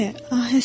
Eləmi?